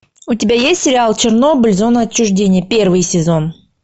у тебя есть сериал чернобыль зона отчуждения первый сезон